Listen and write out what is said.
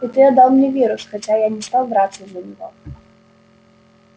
и ты отдал мне вирус хотя я не стал драться за него